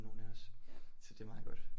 Nogle af os så det er meget godt